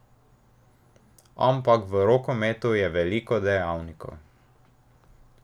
Ampak v rokometu je veliko dejavnikov.